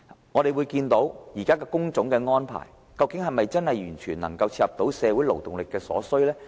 我們看到現時工種的安排，究竟是否真的完全切合社會勞動力所需？